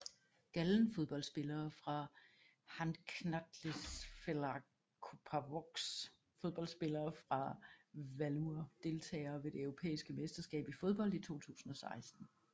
Gallen Fodboldspillere fra Handknattleiksfélag Kópavogs Fodboldspillere fra Valur Deltagere ved det europæiske mesterskab i fodbold 2016